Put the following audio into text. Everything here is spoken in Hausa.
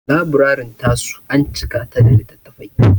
Laburarin ta su an cika ta da littattafai.